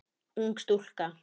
Ung stúlka.